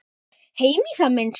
Heimir: Í það minnsta?